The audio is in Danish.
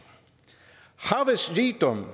havets rigdom